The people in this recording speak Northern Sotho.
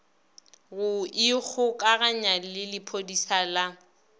go ikgokaganya le lephodisa la